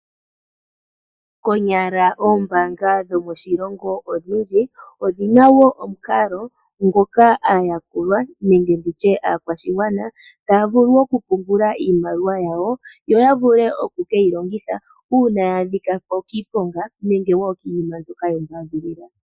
Konyala ombaanga dhomoshilongo odhindji odhina wo omukalo ngoka aayakulwa nenge nditye aakwashigwana taya vulu okupungula iimaliwa yawo yo yavule okukeyi longitha ngele yaadhika koshiponga nenge iinima mbyoka yombadhilila.